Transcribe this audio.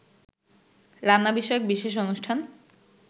রান্না বিষয়ক বিশেষ অনুষ্ঠান